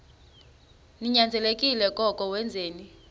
ninyanzelekile koko wenzeni